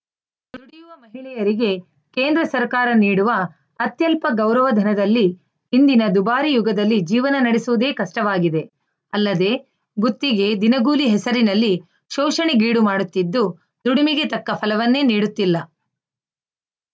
ದುಡಿಯುವ ಮಹಿಳೆಯರಿಗೆ ಕೇಂದ್ರ ಸರ್ಕಾರ ನೀಡುವ ಅತ್ಯಲ್ಪ ಗೌರವಧನದಲ್ಲಿ ಇಂದಿನ ದುಬಾರಿ ಯುಗದಲ್ಲಿ ಜೀವನ ನಡೆಸುವುದೇ ಕಷ್ಟವಾಗಿದೆ ಅಲ್ಲದೇ ಗುತ್ತಿಗೆ ದಿನಗೂಲಿ ಹೆಸರಿನಲ್ಲಿ ಶೋಷಣೆಗೀಡು ಮಾಡುತ್ತಿದ್ದು ದುಡಿಮೆಗೆ ತಕ್ಕ ಫಲವನ್ನೇ ನೀಡುತ್ತಿಲ್ಲ